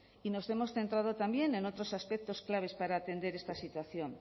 y nos hemos centrado también en otros aspectos claves para atender esta situación